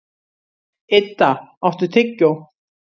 Idda, áttu tyggjó?